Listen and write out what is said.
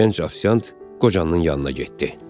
Gənc ofisiant qocanın yanına getdi.